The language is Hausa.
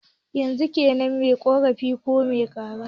Yanzu kaine mai ƙorafi ko mai kara?